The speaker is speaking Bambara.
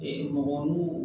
mɔgɔ mun